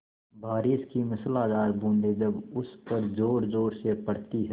बारिश की मूसलाधार बूँदें जब उस पर ज़ोरज़ोर से पड़ती हैं